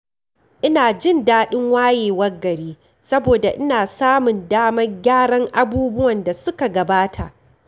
Ina jin daɗin wayewar gari saboda ina samun damar gyara abubuwan da suka gabata.